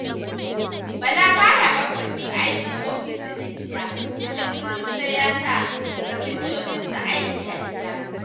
Bala ba ya bambance aiki ofis da na gida, inda kullun sai ya sa masinjojinsa aiki a gida.